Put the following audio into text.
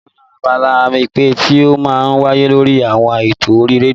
Mo fẹ́ràn abala ìpè tí ó máa ń wáyé lórí àwọn eto orí rédíò